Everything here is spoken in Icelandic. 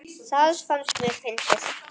Það fannst mér fyndið.